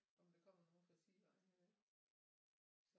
Om der kommer nogen fra sidevejen